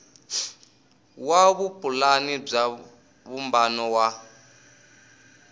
wa vupulani bya vumbano wa